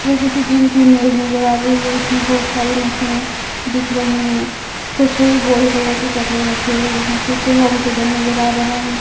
ये किसी जिम की इमेज नजर आ रही है इसमें बहुत सारी मशीने दिख रही है कुछ गोल कलर की चक्र रखे हुए हैं पीछे होम थिएटर नजर आ रहा है।